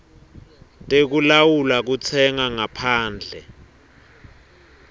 tekulawula kutsenga ngaphandle